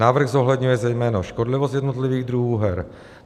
Návrh zohledňuje zejména škodlivost jednotlivých druhů her.